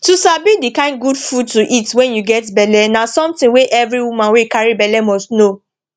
to sabi the kind good food to eat wen u get belle na something wey every woman wey carry belle must know